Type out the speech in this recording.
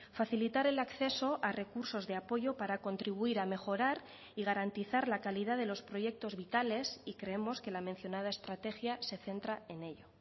facilitar el acceso a recursos de apoyo para contribuir a mejorar y garantizar la calidad de los proyectos vitales y creemos que la mencionada estrategia se centra en ello